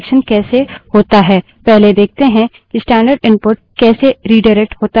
अब देखते है कि 3 streams में रिडाइरेक्शन कैसे होता है